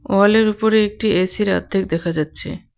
ওয়ালের উপরে একটি এসির আধ্দেক দেখা যাচ্ছে.